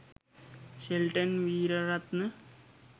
Shelton Weeraratne..